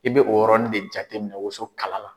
I bɛ o yɔrɔnin de jate minɛn woso kala la.